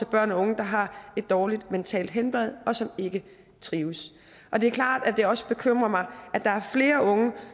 børn og unge der har et dårligt mentalt helbred og som ikke trives det er klart at det også bekymrer mig at der er flere unge